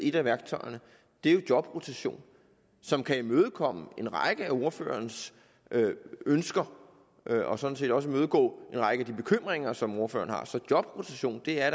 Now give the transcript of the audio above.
et af værktøjerne er jo jobrotation som kan imødekomme en række af ordførerens ønsker og sådan set også imødegå en række af de bekymringer som ordføreren har så jobrotation er